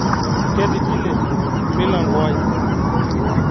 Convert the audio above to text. Ketigile milangoai